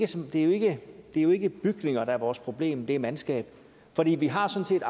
er jo ikke bygninger der er vores problem det er mandskab vi har sådan